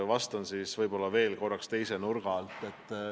Vastan siis teise nurga alt.